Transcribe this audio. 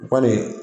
O kɔni